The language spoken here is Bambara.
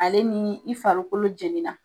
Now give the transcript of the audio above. Ale ni i farikolo jɛnina